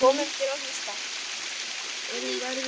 Komum til að hlusta